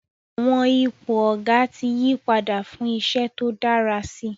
Àwọn ipò Ọ̀gá ti yí padà fún iṣẹ́ tó dára si